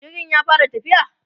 jirgin ya fara tafiya?